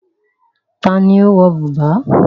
Ta ni ó ń wọ bùbá?